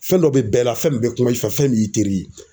Fɛn dɔ be bɛɛ la, fɛn min be kuma i fɛ, fɛn min y'i teri ye.